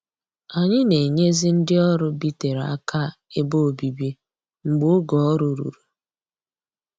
Anyị na-enyezi ndị ọrụ bitere aka ebe obibi mgbe oge ọrụ ruru